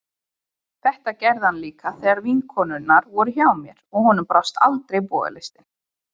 Þetta gerði hann líka þegar vinkonurnar voru hjá mér, og honum brást aldrei bogalistin.